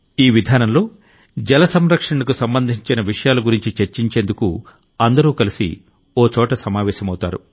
ఈ విధానంలో జల సంరక్షణకు సంబంధించిన విషయాల గురించి చర్చించుకునేందుకు అందరూ కలసి ఓ చోట సమావేశమవుతారు